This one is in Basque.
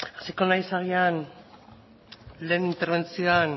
hasiko naiz agian lehen interbentzioan